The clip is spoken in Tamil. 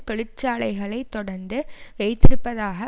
தொழிற்சாலைகளை தொடர்ந்து வைத்திருப்பதாக